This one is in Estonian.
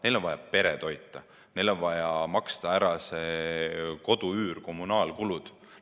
Neil on vaja pere toita, neil on vaja maksta ära kodu üür, kommunaalkulud.